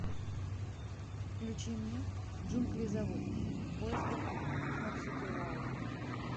включи мне джунгли зовут в поисках марсупилами